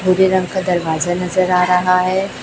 भूरे रंग का दरवाजा नजर आ रहा है।